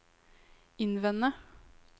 innvende